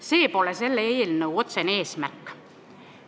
See pole selle eelnõu otsene eesmärk.